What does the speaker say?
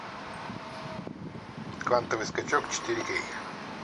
квантовый скачок четыре кей